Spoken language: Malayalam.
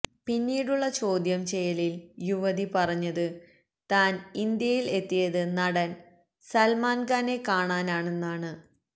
പിന്നീടുള്ള ചോദ്യം ചെയ്യലില് യുവതി പറഞ്ഞത് താന് ഇന്ത്യയില് എത്തിയത് നടന് സല്മാന് ഖാനെ കാണാനാണെന്ന്